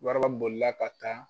Waraba bolila ka taa